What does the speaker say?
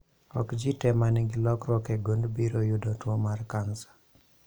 Ok jii tee manigi lokruok e gund biro yudo tuo mar kansa